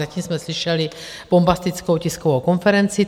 Zatím jsme slyšeli bombastickou tiskovou konferenci.